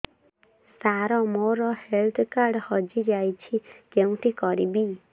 ସାର ମୋର health card ହଜି ଯାଇଛି କେଉଁଠି କରିବି